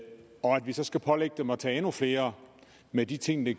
vi så skal pålægge dem at tage endnu flere med de ting det